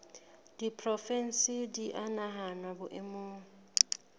diporofensi di a nahanwa boemong